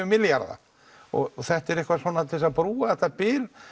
milljarða og þetta er eitthvað svona til að brúa þetta bil